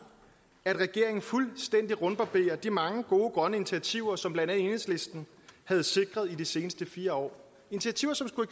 at regeringen fuldstændig rundbarberer de mange gode grønne initiativer som blandt andet enhedslisten har sikret i de seneste fire år initiativer som skulle